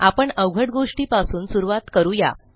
आपण अवघड गोष्टी पासून सुरूवात करू या